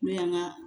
N'o y'an ka